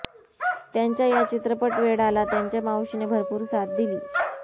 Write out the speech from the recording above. त्यांच्या या चित्रपट वेडाला त्यांच्या मावशीने भरपूर साथ दिली